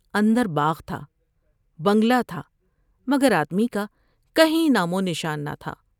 اندر باغ تھا ، بگلہ تھا مگر آدمی کا کہیں نام و نشان نہ تھا ۔